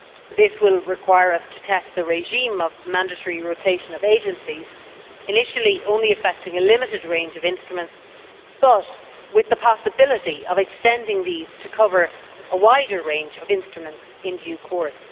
This will require us to test the regime of mandatory rotation of agencies, initially only affecting a limited range of instruments, but with the possibility of extending these to cover a wider range of instruments in due course.